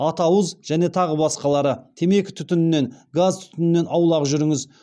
атауыз және тағы басқалары темекі түтінінен газ түтінінен аулақ жүріңіз